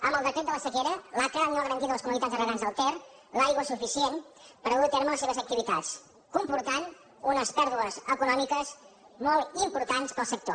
amb el decret de la sequera l’aca no ha garantit a les comuni tats de regants del ter l’aigua suficient per dur a terme les seves activitats cosa que comporta unes pèrdues econòmiques molt importants per al sector